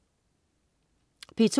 P2: